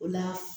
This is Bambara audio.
O la